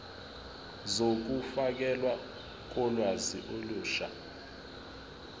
zokufakelwa kolwazi olusha